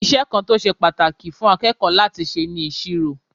Iṣẹ́ kan tó ṣe pàtàkì fún akẹ́kọ̀ọ́ láti ṣe ni ìṣirò.